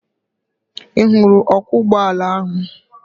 Ị hụrụ ọkwọ ụgbọala ahụ?